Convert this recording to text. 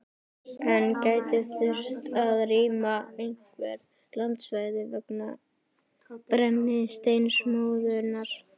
En gæti þurft að rýma einhver landsvæði vegna brennisteinsmóðunnar?